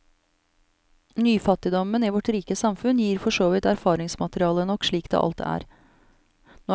Nyfattigdomen i vårt rike samfunn gjev forsåvidt erfaringsmateriale nok slik det alt er.